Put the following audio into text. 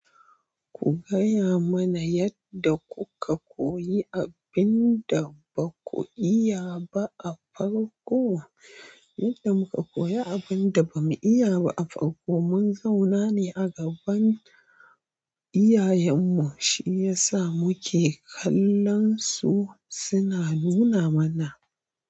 Ku gayamana yadda kuka koyi abinda baku iyaba a farko? Yadda muka koyo abinda bamu iyaba a farko mun zaunane a gaban iyayenmu shiyasa muke kallansu suna nunamana.